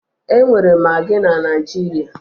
E nwere magị na Naịjirịa